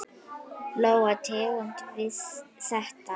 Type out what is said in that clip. Lóa: Tengdi við þetta?